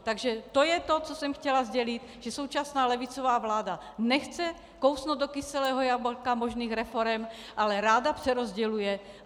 Takže to je to, co jsem chtěla sdělit - že současná levicová vláda nechce kousnout do kyselého jablka možných reforem, ale ráda přerozděluje.